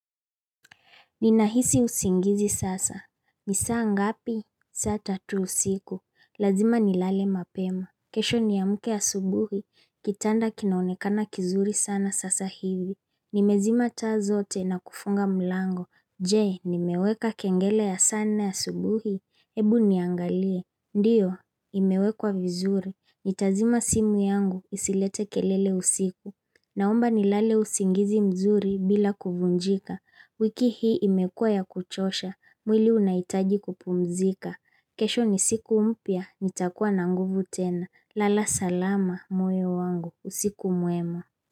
Ninahisi usingizi sasa. Nisaa ngapi? Saata tuusiku. Lazima ni lale mapema. Kesho ni ya mke asubuhi. Kitanda kinaonekana kizuri sana sasa hivi. Nimezima tazote na kufunga mlango. Je, nimeweka kengele ya nne asubuhi. Ebu niangalie. Ndiyo, imewekwa vizuri. Nitazima simu yangu isilete kelele usiku. Naomba nilale usingizi mzuri bila kuvunjika. Wiki hii imekua ya kuchosha, mwili unaitaji kupumzika. Kesho ni siku umpia, nitakuwa na nguvu tena. Lala salama moyo wangu, usiku mwemo.